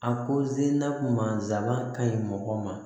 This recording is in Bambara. A ko sela mansala ka ɲi mɔgɔ ma